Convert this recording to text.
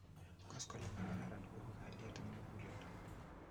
Koskoleny nikararan kuibu kalyet om mukulelto.